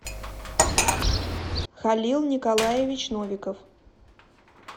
халил николаевич новиков